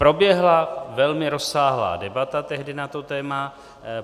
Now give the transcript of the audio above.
Proběhla velmi rozsáhlá debata tehdy na to téma.